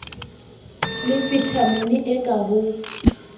le vitamini e ka ho